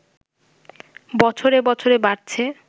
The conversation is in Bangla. বছরে বছরে বাড়ছে